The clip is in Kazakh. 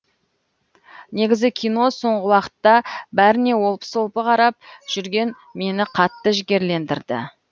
негізі кино соңғы уақытта бәріне олпы солпы қарап жүрген мені қатты жігерлендірді